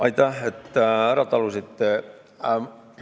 Aitäh, et ära talusite!